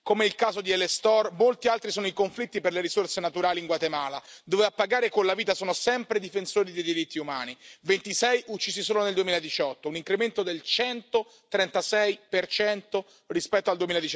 Come il caso di El Estor, molti altri sono i conflitti per le risorse naturali in Guatemala, dove a pagare con la vita sono sempre i difensori dei diritti umani 26 uccisi solo nel 2018, un incremento del 136 rispetto al